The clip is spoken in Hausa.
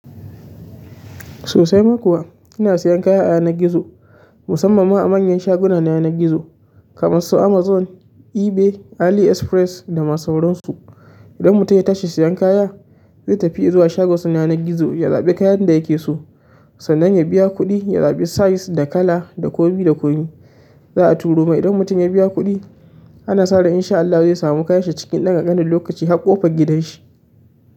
Sosai ma kuwa ina sayan kaya a yanar gizo, musamman ma a manyan shaguna na yanar gizo kamar su Amazon, eBay, AliExpress da masu waransu. Idan mutum ya tashi sayan kaya, zai tafi ya zuwa shagon suna na gizo ya zaɓi kayan da yake so, sannan ya biya kuɗi, ya zaɓi size da kala da ko mai da komai. Za a turo mai idan mutum ya biya kuɗi, ana sa ran in sha Allah zai samu kayan shi cikin ɗan ƙankanin lokaci har ƙofar gidan shi.